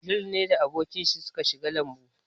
Abdul ne da abokan shi suka shiga lambun.